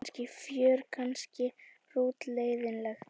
Kannski fjör kannski hrútleiðinlegt.